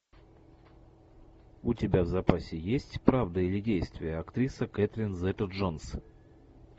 у тебя в запасе есть правда или действие актриса кэтрин зета джонс